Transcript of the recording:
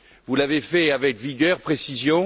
Vous l'avez fait avec vigueur et précision.